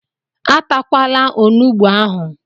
E takwala onugbu ahụ!